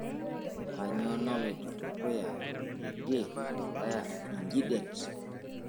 kainyio naloito dukuya teidie tolaya nji det